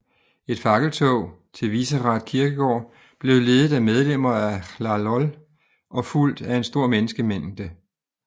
Et fakkeltog til Vyšehrad Kirkegård blev ledet af medlemmer af Hlahol og fulgt af en stor menneskemængde